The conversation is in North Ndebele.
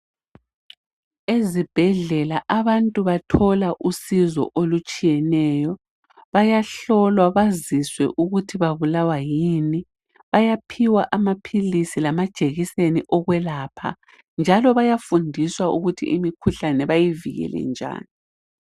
Ezibhedlela abantu bathola usizo olutshiyeneyo. Bayahlolwa baziswe ukuthi babulawa yini. Bayaphiwa amaphilisi lamajekiseni okwelapha njalo bayafundiswa ukuthi imikhuhlane bayivikele njani.